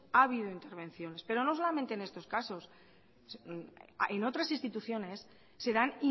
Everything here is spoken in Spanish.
ha habido intervenciones pero no solamente en estos casos en otras instituciones se dan